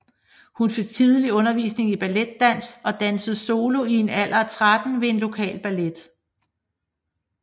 Hun fik tidligt undervisning i balletdans og dansede solo i en alder af tretten ved en lokal ballet